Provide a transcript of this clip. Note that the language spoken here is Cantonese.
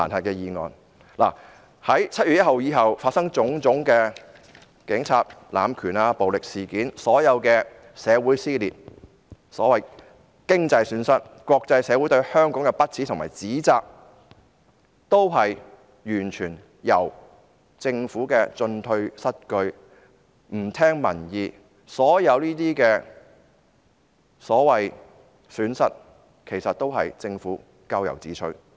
在7月1日後發生的種種警察濫權和暴力事件，所有社會撕裂、經濟損失、國際社會對香港的不齒和指責，完全是因為政府的進退失據和不聽民意所致，所有這些所謂損失，其實也是政府咎由自取。